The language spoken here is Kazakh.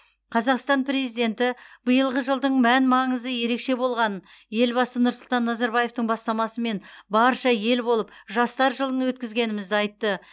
қазақстан президенті биылғы жылдың мән маңызы ерекше болғанын елбасы нұрсұлтан назарбаевтың бастамасымен барша ел болып жастар жылын өткізгенімізді айтты